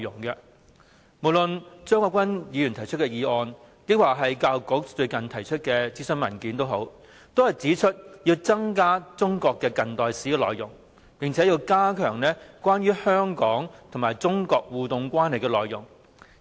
不論是張國鈞議員提出的議案，或是教育界近日提出的諮詢文件，也指出要增加中國近代史的內容，並且要加強有關香港與中國互動關係的內容。